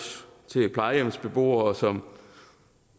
til plejehjemsbeboere som